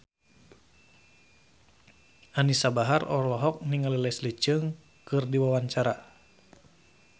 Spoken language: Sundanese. Anisa Bahar olohok ningali Leslie Cheung keur diwawancara